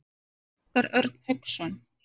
Óskar Örn Hauksson.